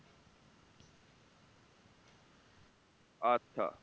আচ্ছা